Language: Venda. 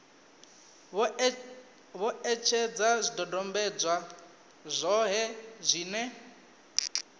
vho etshedza zwidodombedzwa zwohe zwine